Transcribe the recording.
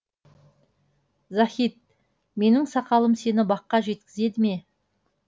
захид менің сақалым сені баққа жеткізеді ме